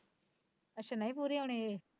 ਅੱਛਾ ਨਹੀਂ ਪੂਰੇ ਹੋਣੇ ਏਹ